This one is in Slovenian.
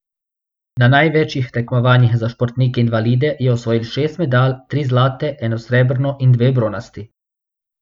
Na največjih tekmovanjih za športnike invalide je osvojil šest medalj, tri zlate, eno srebrno in dve bronasti.